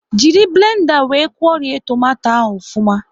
Jiri blenda wee kwuorie tomato ahụ ofuma